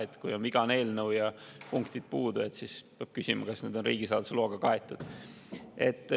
Eelnõu on vigane ja punktid puudu, et peab küsima, kas need on riigisaladuse loaga kaetud.